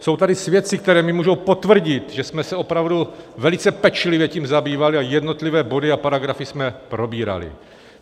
Jsou tady svědci, kteří mi můžou potvrdit, že jsme se opravdu velice pečlivě tím zabývali a jednotlivé body a paragrafy jsme probírali.